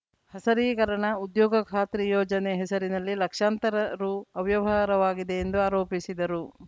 ಹಸರೀಕರಣ ಉದ್ಯೋಗ ಖಾತ್ರಿ ಯೋಜನೆ ಹೆಸರಿನಲ್ಲಿ ಲಕ್ಷಾಂತರ ರು ಅವ್ಯವಹಾರವಾಗಿದೆ ಎಂದು ಆರೋಪಿಸಿದರು